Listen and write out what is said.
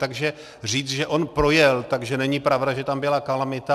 Takže říct, že on projel, takže není pravda, že tam byla kalamita.